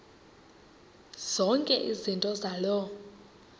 zonke izinto zaloo